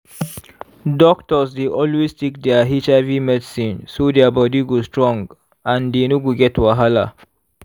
doctors dey always take their hiv medicine so their body go strong and dey no go get wahala.